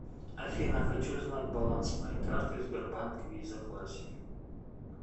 афина хочу знать баланс моей карты сбербанк виза классик